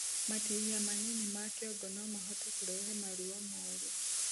Matihia manini ma kĩongo nomahote kurehe maruo moru